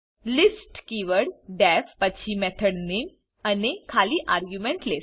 list keyword D E F પછી method નામે અને ખાલી આર્ગ્યુમેન્ટ લીસ્ટ